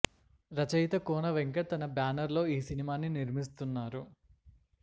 రచయిత కోన వెంకట్ తన బ్యానర్ లో ఈ సినిమాని నిర్మిస్తున్నారు